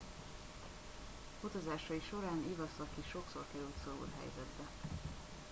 utazásai során iwasaki sokszor került szorult helyzetbe